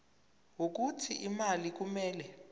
wokuthi imali kumele